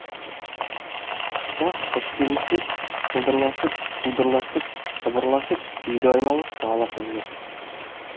тыста қыз келіншек сылдырласып судырласып сыбырласып үйді айналып сығаласып жүр